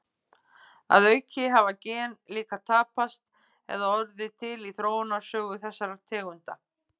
Að auki hafa gen líka tapast eða orðið til í þróunarsögu þessara tegunda.